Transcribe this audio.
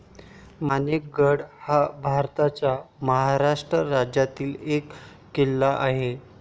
माणिक गड हा भारताच्या महाराष्ट्र राज्यातील एक किल्ला आहे